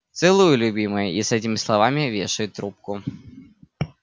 целую любимая и с этими словами вешает трубку